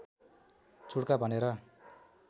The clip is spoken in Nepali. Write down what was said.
चुड्का भनेर